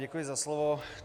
Děkuji za slovo.